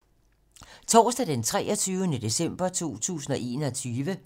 Torsdag d. 23. december 2021